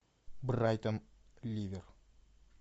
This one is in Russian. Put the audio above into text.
брайтон ливер